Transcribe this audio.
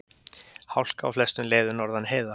Hálka á flestum leiðum norðan heiða